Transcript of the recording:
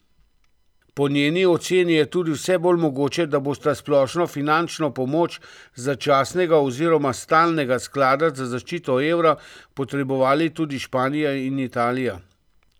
Po njeni oceni je tudi vse bolj mogoče, da bosta splošno finančno pomoč začasnega oziroma stalnega sklada za zaščito evra potrebovali tudi Španija in Italija.